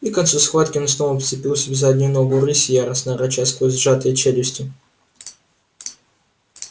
и к концу схватки он снова вцепился в заднюю ногу рыси яростно рыча сквозь сжатые челюсти